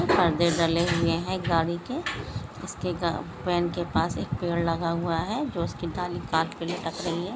पर्दे डाले हुए हैं गाडी की उसके गा के पास पेड़ लगा हुआ है जो उसकी डाली हाथ के लिए टक रहा ह।